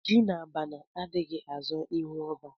Ji na abana adighi azo ihu oba